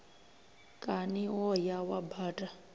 kani wo ya wa baṱa